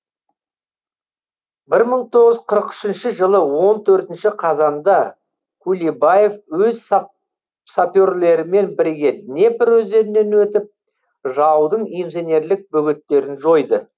бір мың тоғыз жүз қырық үшінші жылы он төртінші қазанда кулебаев өз саперлерімен бірге днепр өзенінен өтіп жаудың инженерлік бөгеттерін жойды